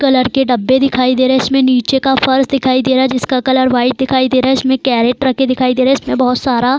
colour के डब्बे दिखाई दे रहे हैं इसमें नीचे का फर्श दिखाई दे रहा है जिसका कलर वाइट दिखाई दे रहा है इसमें कैरेट रखे दिखाई दे रहे हैं इसमें बहोत सारा --